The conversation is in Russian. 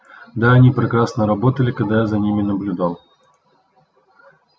да они прекрасно работали когда я за ними наблюдал